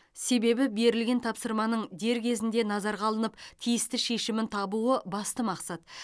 себебі берілген тапсырманың дер кезінде назарға алынып тиісті шешімін табуы басты мақсат